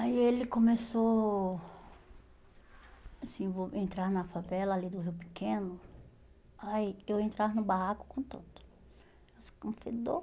Aí ele começou a se envol entrar na favela ali do Rio Pequeno, aí eu entrava no barraco contando.